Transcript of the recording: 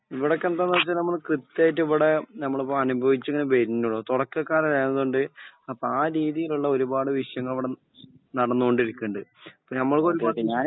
ഇവിടൊക്കെ എന്താന്ന് വെച്ചാല് നമ്മള് കൃത്യായിട്ട് ഇവടെ ഞമ്മള്പ്പൊ അനുഭവിച്ചിങ്ങനെ വെര്ണൊള്ളൂ തൊടക്കക്കാരാരായത് കൊണ്ട് അപ്പൊ ആ രീതീലുള്ള ഒരുപാട് വിഷയങ്ങള് ഇവ്ടെ നടന്നോണ്ടിരിക്കണ്ട് ഇപ്പൊ നമ്മൾ